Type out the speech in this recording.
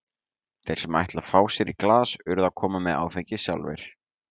Þeir sem ætla að fá sér í glas urðu að koma með áfengið sjálfir.